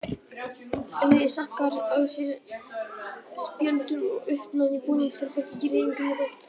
Liðið sankar að sér spjöldum og uppnám í búningsherberginu gerir engum gott.